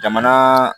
Jamana